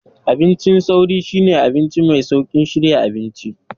Abincin sauri shine abinci mai sauƙin shirya abinci.